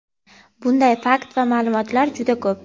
Bunday fakt va ma’lumotlar juda ko‘p.